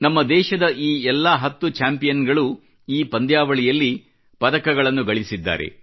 ನಮ್ಮ ದೇಶದ ಈ ಎಲ್ಲ ಹತ್ತು ಚಾಂಪಿಯನ್ ಗಳು ಈ ಪಂದ್ಯಾವಳಿಯಲ್ಲಿ ಪದಕಗಳನ್ನು ಸಾಧಿಸಿದ್ದಾರೆ